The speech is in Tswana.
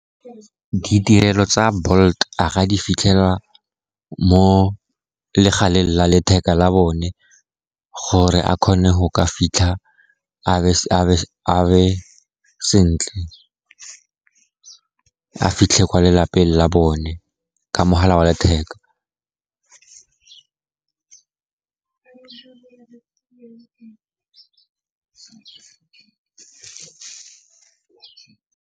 Ditirelo tsa Bolt a ka di fitlhela mo legaleng la letheka la bone gore a kgone go ka fitlha a be sentle, a fitlhe ko lelapeng la bone ka mogala wa letheka.